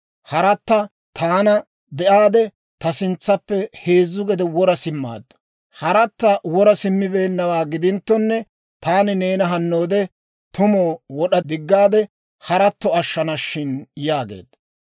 Haratta taana be'aade, ta sintsaappe heezzu gede wora simmaaddu. Haratta wora simmabeennawaa gidinttonne, taani neena hannoode tumu wod'a diggaade, haratto ashshana shin» yaageedda.